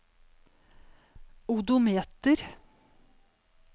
odometer